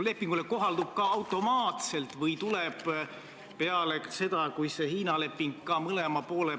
Aga pigem oleks pidanud see ütlus olema selle kohta, miks see katkestamise ettepanek tagasi lükatakse.